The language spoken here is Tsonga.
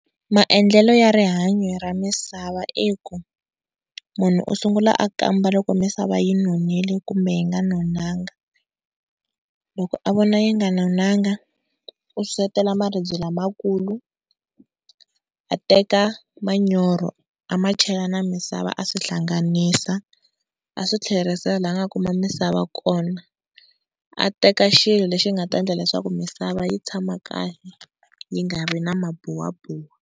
Maendlelo ya rihanyo ra misava i ku munhu u sungula a kamba loko misava yi nonile kumbe yi nga nonanga, loko a vona yi nga nonanga u sesetela maribye lamakulu a teka manyoro a ma chela na misava a swi hlanganisa a swi tlherisela laha a nga kuma misava kona, a teka xilo lexi nga ta endla leswaku misava yi tshama kahle yi nga ri na mabuwabuwa.